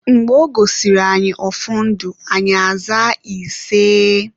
Mgbe ọ gọsịrị anyị ọfọ ndụ, anyị zaa iseeeeee